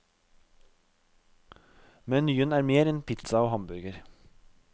Menyen er mer enn pizza og hamburger.